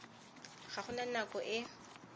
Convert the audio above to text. ga go na nako e